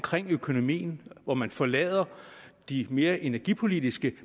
økonomien hvor man forlader de mere energipolitiske